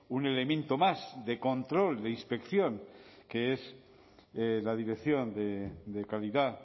un elemento más de control de inspección que es la dirección de calidad